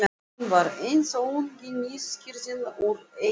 Hún var eins og ungi nýskriðinn úr egginu.